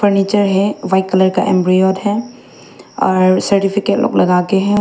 नीचे है white colour का एंब्रॉयड है और सर्टिफिकेट लोग लगा के हैं।